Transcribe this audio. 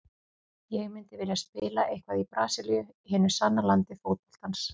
Ég myndi vilja spila eitthvað í Brasilíu, hinu sanna landi fótboltans.